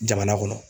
Jamana kɔnɔ